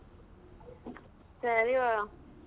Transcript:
ಸರಿ ಸರಿ ಹೇಳು.